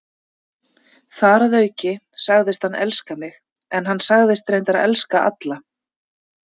Þar að auki sagðist hann elska mig, en hann sagðist reyndar elska alla.